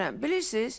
Bilirsiz?